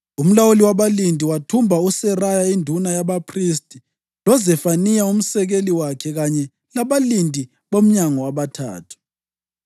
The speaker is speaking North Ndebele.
Umlawuli wabalindi wathumba uSeraya induna yabaphristi, loZefaniya umsekeli wakhe kanye labalindi bomnyango abathathu.